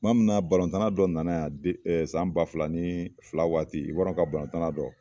kuma mina balɔntana dɔ nana yan de ɛ san ba fila nii fila waati iwarinɛnw ka balɔntana dɔ